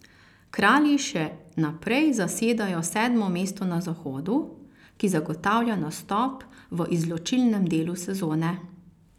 Kralji še naprej zasedajo sedmo mesto na Zahodu, ki zagotavlja nastop v izločilnem delu sezone.